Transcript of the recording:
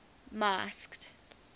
masked